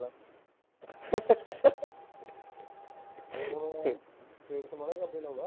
face ਕਰਕੇ ਲਾਉਂਦਾ